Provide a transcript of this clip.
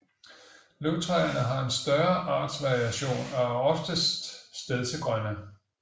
Løvtræerne har en større artsvariation og er oftest stedsegrønne